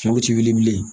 Fɛnw ti wuli bilen